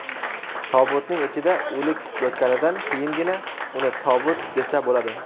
Tobutning ichida o‘lik yotganidan keyingina uni tobut desa bo‘ladi.